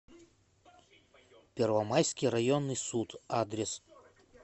первомайский районный суд адрес